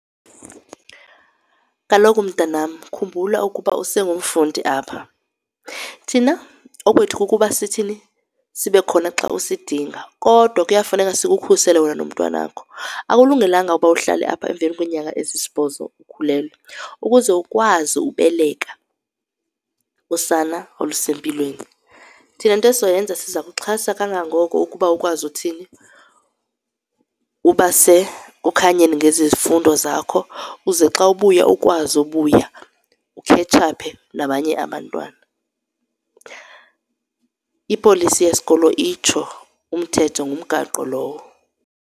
Kaloku, mntanam, khumbula ukuba usengumfundi apha. Thina okwethu kukuba sithini, sibe khona xa usidinga kodwa kuyafuneka sikukhusele wena nomntwana wakho. Akulungelanga ukuba uhlale apha emveni kweenyanga ezisibhozo ukhulelwe ukuze ukwazi ubeleka usana olusempilweni. Thina into esizoyenza siza kuxhasa kangangoko ukuba ukwazi uthini, uba sekukhanyeni ngezi zifundo zakho, uze xa ubuya ukwazi ubuya ukhetshaphe nabanye abantwana. Ipolisi yesikolo itsho umthetho, ngumgaqo lowo.